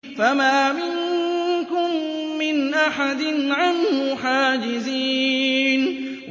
فَمَا مِنكُم مِّنْ أَحَدٍ عَنْهُ حَاجِزِينَ